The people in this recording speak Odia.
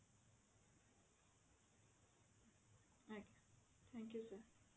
ଆଜ୍ଞା thank you sir